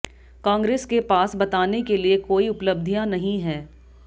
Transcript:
कांग्रेस के पास बताने के लिए कोई उपलब्धियां नहीं है